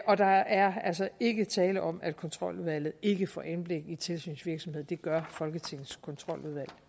og der er altså ikke tale om at kontroludvalget ikke får indblik i tilsynsvirksomheden det gør folketingets kontroludvalg